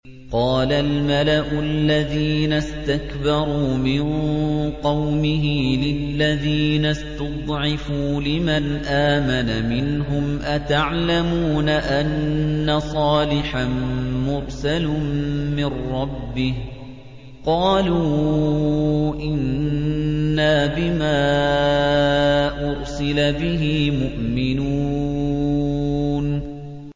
قَالَ الْمَلَأُ الَّذِينَ اسْتَكْبَرُوا مِن قَوْمِهِ لِلَّذِينَ اسْتُضْعِفُوا لِمَنْ آمَنَ مِنْهُمْ أَتَعْلَمُونَ أَنَّ صَالِحًا مُّرْسَلٌ مِّن رَّبِّهِ ۚ قَالُوا إِنَّا بِمَا أُرْسِلَ بِهِ مُؤْمِنُونَ